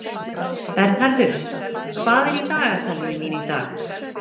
Bernharður, hvað er í dagatalinu mínu í dag?